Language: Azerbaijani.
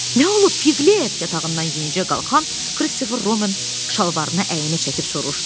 Nə olub Piqlet, yatağından yenicə qalxan Kristofer Robin şalvarına əyninə çəkib soruşdu.